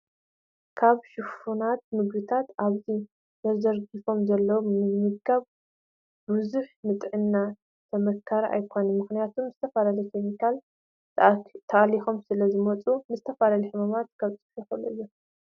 ካብ ሽፉናት ምግብታትኣብዚ ተዘርዲሮ ዘለው ምምጋብ ብዘሁ ንጥዕና ተመካሪ ኣይኮነት ምክንያቱ ብዝተፈላለዩ ከሚካላት ተኣሊኮም ስለ ዝመፁ ንዝተፈላለዩ ሕማማት ከብፅሑ ይክእሉ እዮም።